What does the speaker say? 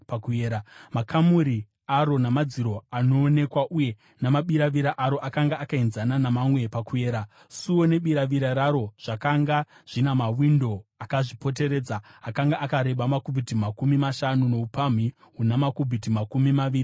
Makamuri aro, namadziro anoonekera uye namabiravira aro, akanga akaenzana namamwe pakuyera. Suo nebiravira raro zvakanga zvina mawindo akazvipoteredza. Akanga akareba makubhiti makumi mashanu noupamhi huna makubhiti makumi maviri namashanu.